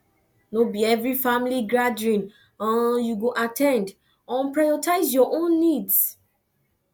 no be every family gathering um you go at ten d um prioritize your own needs